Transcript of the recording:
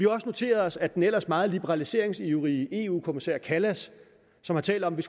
også noteret os at den ellers meget liberaliseringsivrige eu kommissær callas som har talt om at